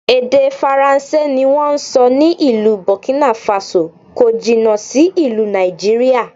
Èdè Faransé ni wón ń sọ ní ìlú Bọ̀kínàfasò, kò jìnà sí ìlú Nàìjíríà.